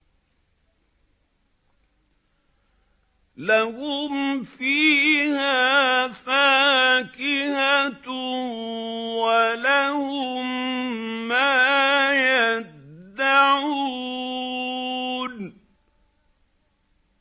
لَهُمْ فِيهَا فَاكِهَةٌ وَلَهُم مَّا يَدَّعُونَ